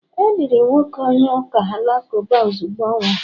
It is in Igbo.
e liri nwoke onye uka Alakụba ozugbo ọ nwụrụ